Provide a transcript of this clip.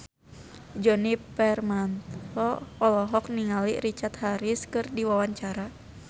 Djoni Permato olohok ningali Richard Harris keur diwawancara